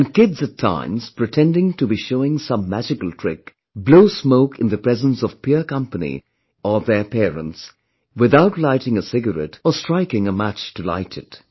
And Kids at times pretending to be showing some magical trick, blow smoke in the presence of Peer Company or their parents, without lighting a cigarette or striking a match to light it